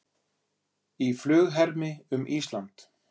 Í flughermi um Ísland